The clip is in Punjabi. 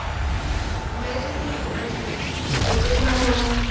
marriage ਚ ਤੇ ਇਹੀ ਹੁੰਦਾ ਅੱਜਕਲ photos